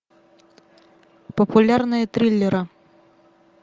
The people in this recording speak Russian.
популярные триллеры